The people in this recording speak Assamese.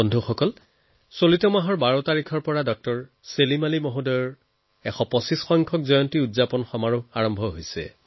বন্ধুসকল চলিত নৱেম্বৰ মাহৰ ১২ তাৰিখৰ পৰা ডক্টৰ ছেলিম আলি জীৰ ১২৫সংখ্যক জন্ম বাৰ্ষিকী সমাৰোহ আৰম্ভ হৈছে